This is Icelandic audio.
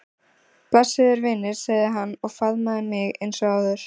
Blessaður vinur sagði hann og faðmaði mig eins og áður.